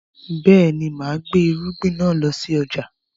Bẹ́ẹ̀ni, máa gbé irúgbìn náà lọ sí ọjà